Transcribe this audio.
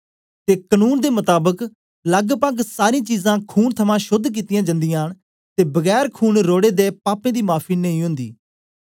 ते कनून दे मताबक लगपग सारीं चीजां खून थमां शोद्ध कित्तियां जांदियां न ते बगैर खून रोढ़े दे पापें दी माफी नेई ओंदी